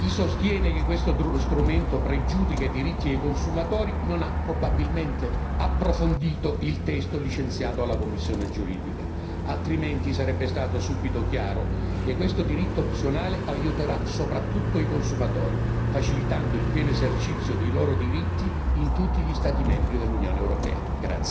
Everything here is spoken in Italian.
Chi sostiene che questo strumento pregiudica i diritti dei consumatori non ha probabilmente approfondito il testo licenziato alla commissione giuridica, altrimenti sarebbe stato subito chiaro che questo diritto opzionale aiuterà soprattutto i consumatori, facilitando il pieno esercizio dei loro diritti in tutti gli Stati membri dell'Unione europea.